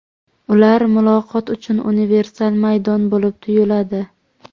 Ular muloqot uchun universal maydon bo‘lib tuyuladi.